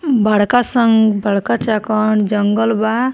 बड़का सन बड़का चाकंद जंगल बा।